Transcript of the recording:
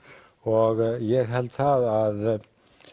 og ég hald að